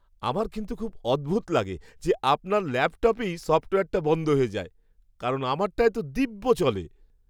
আমার কিন্তু খুব অদ্ভুত লাগে যে আপনার ল্যাপটপেই সফ্টওয়্যারটা বন্ধ হয়ে যায়। কারণ আমারটায় তো দিব্য চলে!